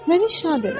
Məni şad elə.